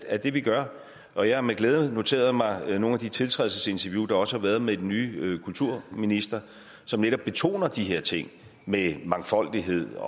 er det vi gør og jeg har med glæde noteret mig nogle af de tiltrædelsesinterview der også har været med den nye kulturminister som netop betoner de her ting med mangfoldighed